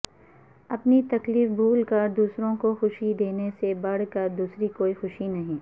اپنی تکلیف بھول کر دوسروں کو خوشی دینے سے بڑھ کر دوسری کوئی خوشی نہی